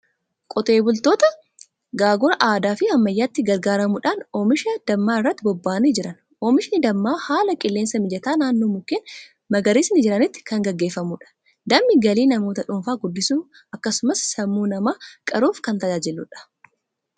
Qotee bultoota gaagura aadaa fi ammayyaatti gargaaramuudhaan oomisha dammaa irratti bobba'anii jiran. Oomishni dammaa haala qilleensaa mijataa naannoo mukeen magariisni jiranitti kan gaggeeffamudha. Dammi galii namoota dhuunfaa guddisuuf akkasumas sammuu namaa qaruuf kan tajaajiludha.